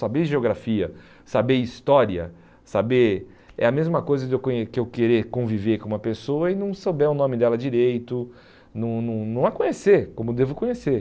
Saber geografia, saber história, saber é a mesma coisa de eu conhe que eu querer conviver com uma pessoa e não souber o nome dela direito, não não não a conhecer como devo conhecer.